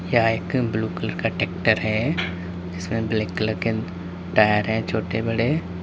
यह एक blue colour का ट्रैक्टर है जिसमें ब्लैक कलर के टायर हैं छोटे बड़े।